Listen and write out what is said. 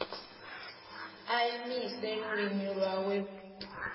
a imise lulimi lwawe u